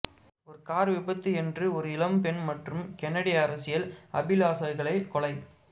ஒரு கார் விபத்து என்று ஒரு இளம் பெண் மற்றும் கென்னடி அரசியல் அபிலாசைகளை கொலை